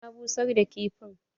Na busar da kifin.